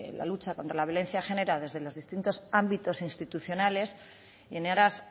la lucha contra la violencia de género desde los ámbitos institucionales en aras